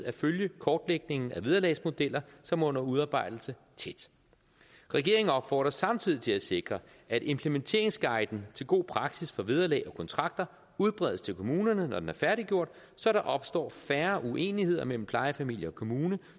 at følge kortlægningen af vederlagsmodeller som er under udarbejdelse tæt regeringen opfordres samtidig til at sikre at implementeringsguiden til god praksis for vederlag og kontrakter udbredes til kommunerne når den er færdiggjort så der opstår færre uenigheder mellem plejefamilie og kommune